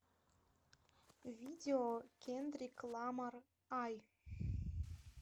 видео кендрик ламар ай